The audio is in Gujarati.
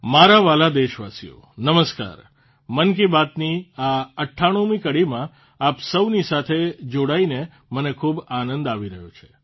મારા વ્હાલા દેશવાસીઓ નમસ્કાર મન કી બાતની આ ૯૮મી કડીમાં આપ સૌની સાથે જોડાઇને મને ખૂબ આનંદ આવી રહ્યો છે